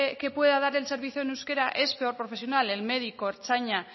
que pueda dar el servicio en euskera es peor profesional el médico ertzaina